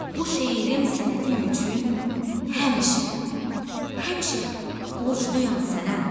Bu şeirim sənətim üçün həmişə, həmişə borcluyam sənə.